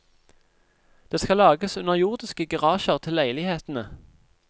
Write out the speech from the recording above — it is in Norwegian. Det skal lages underjordiske garasjer til leilighetene.